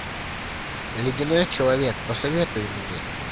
ледяной человек посоветуй мне